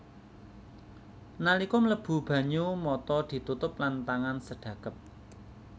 Nalika mlebu banyu mata ditutup lan tangan sedhakep